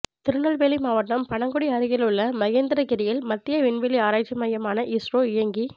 திருநெல்வேலி மாவட்டம் பணகுடி அருகிலுள்ள மகேந்திரகிரியில் மத்திய விண்வெளி ஆராய்ச்சி மையமான இஸ்ரோ இயங்கி